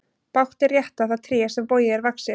Bágt er rétta það tré sem bogið er vaxið.